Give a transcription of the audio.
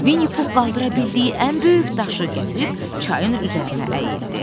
Vinnipux qaldıra bildiyi ən böyük daşı gətirib çayın üzərinə əyildi.